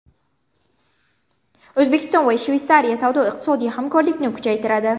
O‘zbekiston va Shveysariya savdo-iqtisodiy hamkorlikni kuchaytiradi.